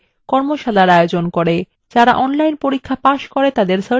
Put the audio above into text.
যারা online পরীক্ষা pass করে তাদের certificates দেয়